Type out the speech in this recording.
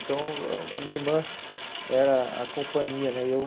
Então, a minha irmã era a companhia, né? Eu